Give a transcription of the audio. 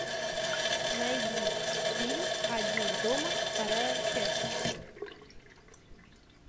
найди фильм один дома вторая часть